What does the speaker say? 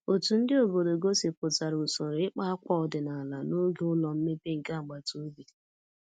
Otu ndị obodo gosipụtara usoro ịkpa akwa ọdịnala n'oge ụlọ mmepe nke agbata obi